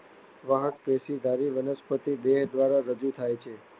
વાહકપેશીધારી વનસ્પતિ દેહ દ્વારા રજૂ થાય છે.